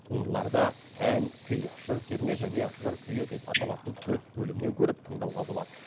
туындыларды ән күй жыр терме және жыр күйі деп аталатын төрт бөлімнен көріп тыңдауға болады